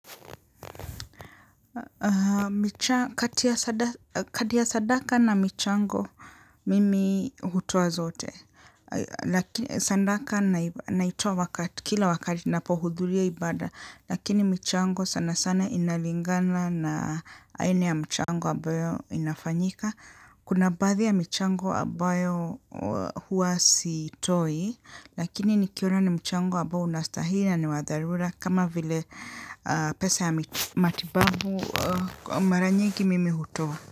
Kati ya sadaka na michango mimi hutoa zote. Sadaka naitoa kila wakati napohudhuria ibada. Lakini mchango sana sana inalingana na aina ya mchango ambayo inafanyika. Kuna baadhi ya michango ambayo huwa siitoi. Lakini nikiona ni mchango ambayo unastahili na ni wadharura kama vile pesa yamamatibabu mara nyingi mimi hutoa.